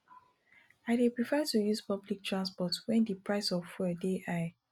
i dey prefer to use public transport wen di price of fuel dey high